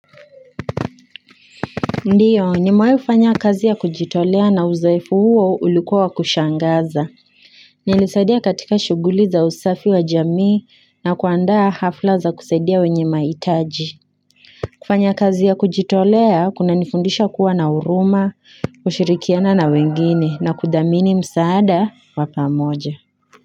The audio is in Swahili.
Ndiyo nimewai kufanya kazi ya kujitolea na uzoefu huo ulikuwa wa. Kushangaza. Nilisaidia katika shuguli za usafi wa jamii na kuandaa hafla za kusaidia wenye mahitaji. Kufanya kazi ya kujitolea kuna nifundisha kuwa na huruma, kushirikiana na wengine na kudhamini msaada wa pamoja.